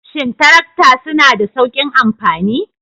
Shin tarakta suna da sauƙin amfani?